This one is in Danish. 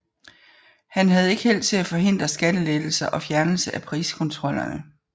Han havde ikke held til at forhindre skattelettelser og fjernelse af priskontrollerne